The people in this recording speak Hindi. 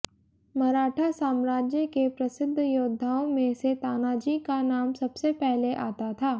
मराठा साम्राज्य के प्रसिद्ध योद्धाओं में से तानाजी का नाम सबसे पहले आता था